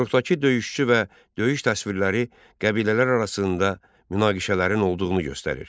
Qoruqdakı döyüşçü və döyüş təsvirləri qəbilələr arasında münaqişələrin olduğunu göstərir.